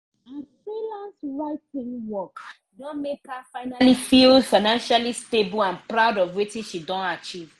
her freelance writing work don make her finally feel financially stable and proud of wetin she don achieve